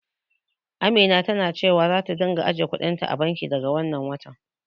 Amina tana cewa zata ringa ajiye kuɗin ta a banki, daga wannan watan.